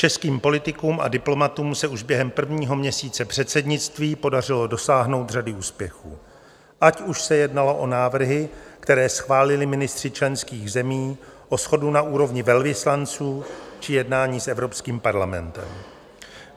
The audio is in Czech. Českým politikům a diplomatům se už během prvního měsíce předsednictví podařilo dosáhnout řady úspěchů, ať už se jednalo o návrhy, které schválili ministři členských zemí, o shodu na úrovni velvyslanců či jednání s Evropským parlamentem.